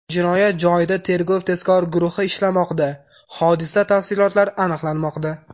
Jinoyat joyida tergov-tezkor guruhi ishlamoqda, hodisa tafsilotlari aniqlanmoqda.